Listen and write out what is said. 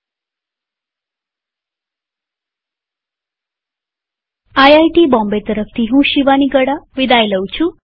IIT Bombay તરફથી હું શિવાની ગડા વિદાય લઉં છુંટ્યુ્ટોરીઅલમાં ભાગ લેવા આભાર